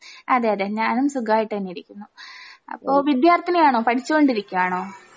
അതെയതെ ഞാനും സുഖായിട്ടന്നെയിരിക്കുന്നു അപ്പോ വിദ്യാർത്ഥിനിയാണോ? പഠിച്ചുകൊണ്ടിരിക്കയാണോ?